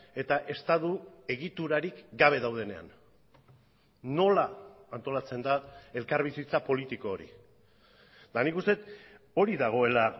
eta estatu egiturarik gabe daudenean nola antolatzen da elkarbizitza politiko hori eta nik uste dut hori dagoela